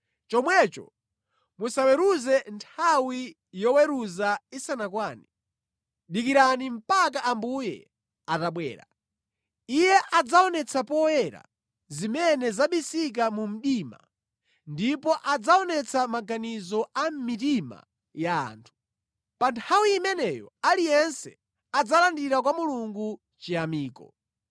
Chomwecho musaweruze nthawi yoweruza isanakwane. Dikirani mpaka Ambuye atabwera. Iye adzaonetsa poyera zimene zabisika mu mdima ndipo adzaonetsa maganizo a mʼmitima ya anthu. Pa nthawi imeneyo aliyense adzalandira kwa Mulungu chiyamiko.